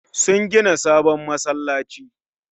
Sun gina sabon masallaci